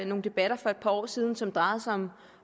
nogle debatter for et par år siden som drejede sig om